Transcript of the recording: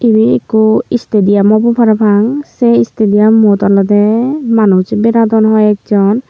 ibey ikko istidiyum obo parapang sei istidiyummot olodey manuj beradon hoiekjon.